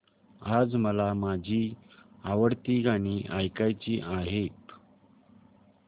आज मला माझी आवडती गाणी ऐकायची आहेत